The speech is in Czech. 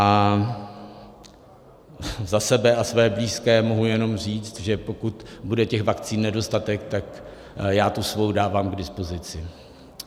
A za sebe a své blízké mohu jenom říct, že pokud bude těch vakcín nedostatek, tak já tu svou dávám k dispozici.